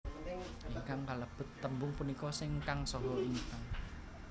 Ingkang kalebet tembung punika sing kang saha ingkang